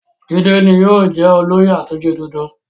Jídé ni yóò jẹ́ olóyè àtúnṣe tuntun.